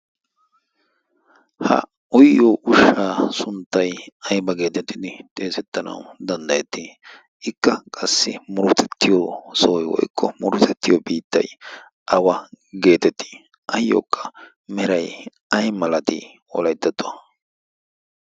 ha uyiyo ushshaa sunttai aiba geetettidi xeesettanawu danddayettii? ikka qassi murotettiyo sooi woikko murotettiyo biittai awa geetettii ayyookka merai ai malatii wolaittettuwan?